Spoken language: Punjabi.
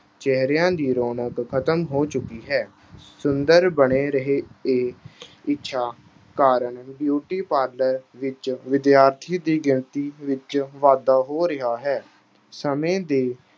ਚਿਹਰਿਆਂ ਦੀ ਰੌਣਕ ਖ਼ਤਮ ਹੋ ਚੁੱਕੀ ਹੈ। ਸੁੰਦਰ ਬਣੇ ਰਹਿਣ ਅਹ ਇੱਛਾ ਕਾਰਨ beauty parlour ਵਿੱਚ ਵਿਦਿਆਰਥੀ ਦੀ ਗਿਣਤੀ ਵਿੱਚ ਵਾਧਾ ਹੋ ਰਿਹਾ ਹੈ।